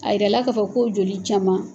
A yira la k'a fɔ ko joli caman.